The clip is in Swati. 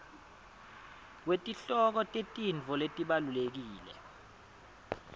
kwetihloko tetintfo letibalulekile